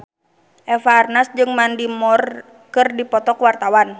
Eva Arnaz jeung Mandy Moore keur dipoto ku wartawan